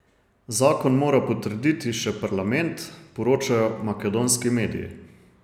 Zakon mora potrditi še parlament, poročajo makedonski mediji.